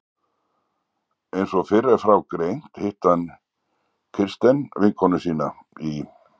Einsog fyrr er frá greint hitti hann Kirsten vinkonu sína í